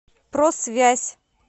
просвязь